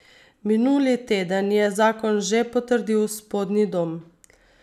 Minuli teden je zakon že potrdil spodnji dom.